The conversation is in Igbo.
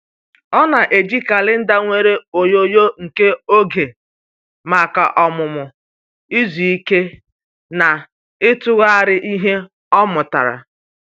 Ọ na-eji kalenda nwere onyonyo kee oge maka ọmụmụ, izu ike, na ịtụgharị ihe ọ mụtara.